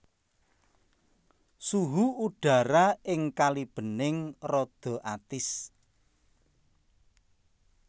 Suhu udhara ing Kalibening rada atis